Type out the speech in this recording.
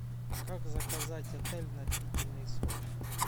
как заказать отель на длительный срок